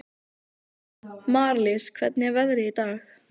Marlís, hvernig er veðrið í dag?